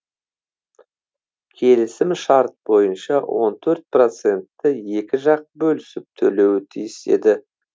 келісім шарт бойынша он төрт процентті екі жақ бөлісіп төлеуі тиіс еді